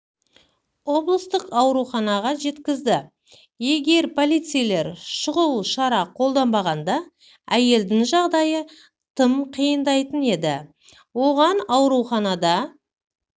облыстық ауруханаға жеткізді егер полицейлер шұғыл шара қолданбағанда әйелдің жағдайы тым қиындайтын еді оған ауруханада